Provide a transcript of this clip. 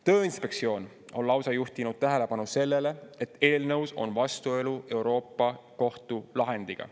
Tööinspektsioon on lausa juhtinud tähelepanu sellele, et eelnõus on vastuolu Euroopa Kohtu lahendiga.